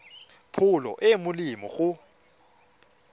pholo e e molemo go